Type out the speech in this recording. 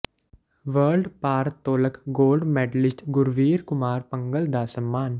world ਭਾਰ ਤੋਲਕ gold medalist Gurvir Kumar Bhangal ਦਾ ਸਨਮਾਨ